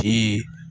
Ti